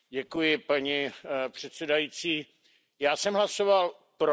Paní předsedající, já jsem hlasoval pro.